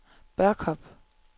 Børkop